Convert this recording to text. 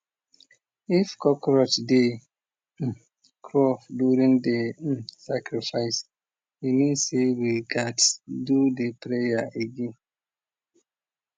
if cockroach dey crawl during the sacrifice e mean say we gats do the prayer again